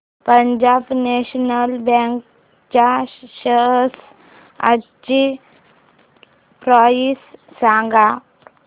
Punjab National Bank च्या shares आजची price सांगा